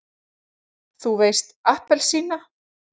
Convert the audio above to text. þú veist APPELSÍNA!